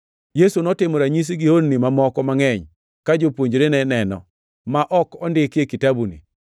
Yesu notimo ranyisi gi honni mamoko mangʼeny, ka jopuonjrene neno, ma ok ondiki e kitabuni.